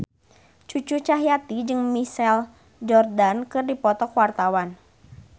Cucu Cahyati jeung Michael Jordan keur dipoto ku wartawan